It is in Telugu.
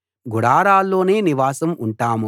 గుడారాల్లోనే నివాసం ఉంటాం